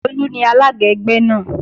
Tolú ni alága ẹgbẹ́ náà